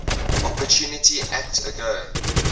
opportunity act agoa